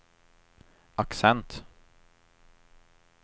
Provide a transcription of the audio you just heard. accent